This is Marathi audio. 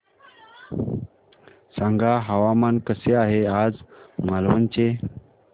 सांगा हवामान कसे आहे आज मालवण चे